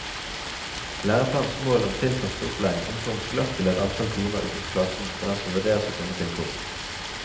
Læreplanens mål om tilpasset opplæring omformes glatt til et antall timer utenfor klassen for dem som vurderes å komme til kort.